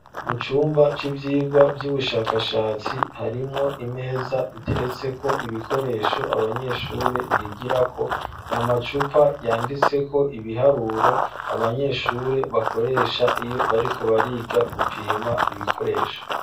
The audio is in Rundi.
Mu cumba c'ivyigwa, vy'ubushakashatsi, harimwo imeza, iteretseko ibikoresho, abanyeshure bigirako; ni amacupa yanditseko ibiharuro, abanyeshure bakoresha, iyo bariko bariga, gupima ibikoresho.